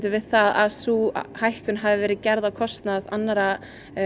við það að sú hækkun hafi verið gerð á kostnað annarra